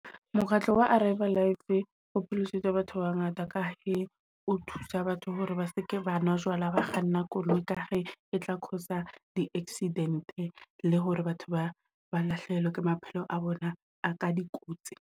Mokgatlo wa Arrive Alive o pholositse batho ba ba ngata, ka he o thusa batho hore ba seke banwa jwala ha ba kganna koloi. Ka he e tla cause-a di-accident le hore batho ba ba lahlehelwa ke maphelo a bona a ka dikotsi.